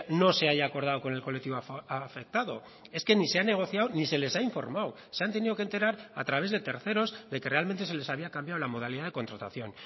no se haya acordado con el colectivo afectado es que ni se ha negociado ni se les ha informado se han tenido que enterar a través de terceros de que realmente se les había cambiado la modalidad de contratación